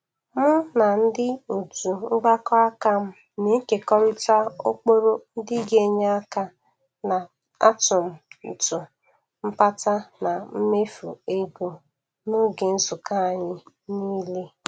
Mụ na ndị otu mgbakọ aka m na-ekekọrịta ụkpụrụ ndị ga-enye aka n'atụmtụ mpata na mmefu ego n'oge nzukọ anyị n'ile.